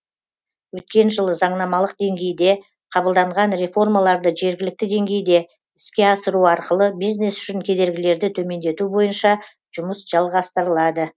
өткен жылы заңнамалық деңгейде қабылданған реформаларды жергілікті деңгейде іске асыру арқылы бизнес үшін кедергілерді төмендету бойынша жұмыс жалғастырылады